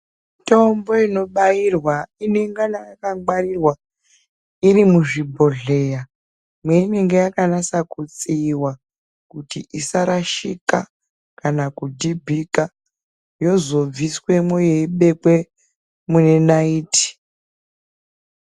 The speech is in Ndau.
Mitombo inobairwa inengana yakangwarirwa, iri muzvibhodhleya mweinenga yakanasa kutsiiwa, kuti isarashika, kana kudhibhika, yozobviswemwo yeibekwe muenaiti.